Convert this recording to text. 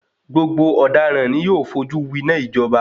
Gbogbo ọdaràn ni yóò fojú wináa ìjọba.